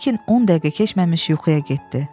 Burkin on dəqiqə keçməmiş yuxuya getdi.